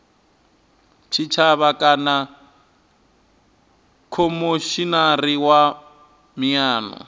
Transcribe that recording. tshitshavha kana khomishinari wa miano